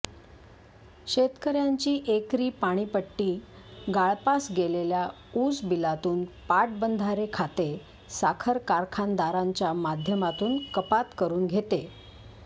शेतकर्यांची एकरी पाणीपट्टी गाळपास गेलेल्या ऊस बिलातून पाटबंधारे खाते साखर कारखानदारांच्या माध्यमातून कपात करून घेते